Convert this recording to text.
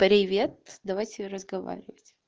привет давайте разговаривать